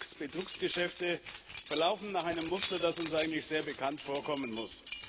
Die Cum Ex Betrugsgeschäfte verlaufen nach einem Muster, das uns eigentlich sehr bekannt vorkommen muss.